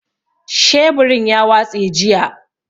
Sheburin ya watse jiya.